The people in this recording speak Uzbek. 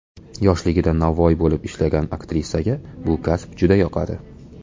Yoshligida novvoy bo‘lib ishlagan aktrisaga bu kasb juda yoqadi.